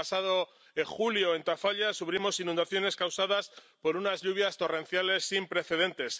El pasado mes de julio, en Tafalla sufrimos inundaciones causadas por unas lluvias torrenciales sin precedentes.